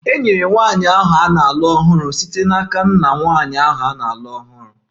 E nyere nwanyị ahụ na-alụ ọhụrụ site n'aka nna nwanyị ahụ na-alụ ọhụrụ